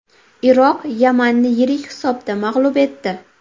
Iroq Yamanni yirik hisobda mag‘lub etdi .